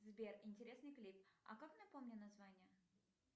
сбер интересный клип а как напомни название